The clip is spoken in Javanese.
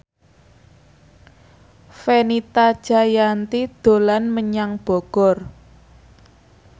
Fenita Jayanti dolan menyang Bogor